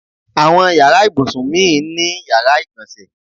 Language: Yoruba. Àwọn yàrá ìbùsùn mi ni yàrá ìgbọ̀nsẹ̀.